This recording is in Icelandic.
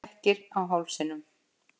Flekkir á hálsinum.